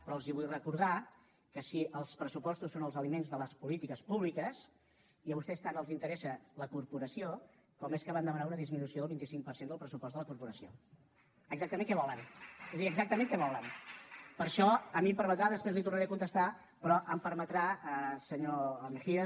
però els vull recordar que si els pressupostos són els aliments de les polítiques públiques i a vostès tant els interessa la corporació com és que van demanar una disminució del vint cinc per cent del pressupost de la corporació exactament què volen vull dir exactament què volen per això a mi em permetrà després li tornaré a contestar senyor mejía